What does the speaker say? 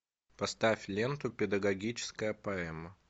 поставь ленту педагогическая поэма